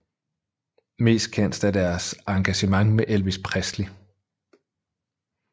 Mest kendt er deres engagement med Elvis Presley